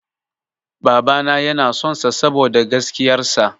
Babana yana son sa saboda gaskiyar sa.